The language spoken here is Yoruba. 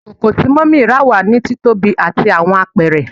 Ikoko ti mummy ra wa ni titobi ati awọn apẹrẹ